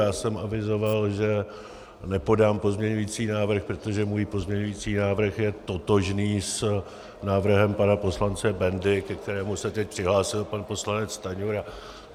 Já jsem avizoval, že nepodám pozměňující návrh, protože můj pozměňující návrh je totožný s návrhem pana poslance Bendy, ke kterému se teď přihlásil pan poslanec Stanjura.